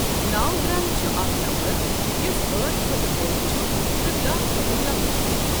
نو ground چھُ اَکھ number یُس ٲٹھ کھوتہٕ بۆڈ چھُ تہٕ داہ کھوتہٕ لوکُٹ چھُ۔ ۔